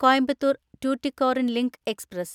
Coimbatore‍ Tuticorin link express